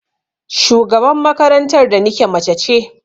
Shugaban makarantar da nike mace ce.